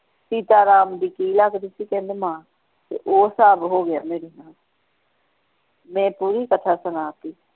ਸੀਤਾ ਰਾਮ ਦੀ ਕਿ ਲਗਦੀ ਸੀ ਕਹਿੰਦੇ ਮਾਂ ਤੇ ਉਹ ਸਾਹਬ ਹੋ ਗਿਆ ਮੇਰੇ ਨਾਲ ਮੈਂ ਪੂਰੀ ਕਥਾ ਸੁਣਾ ਦਿੱਤੀ।